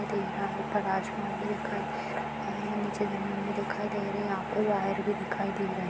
ऊपर आसमान दिखाई दे रही है नीचे जमीन भी दिखाई दे रही है यहाँ पे वायर भी दिखाई दे रहे हैं।